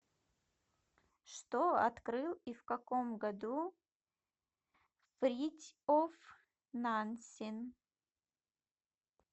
что открыл и в каком году фритьоф нансен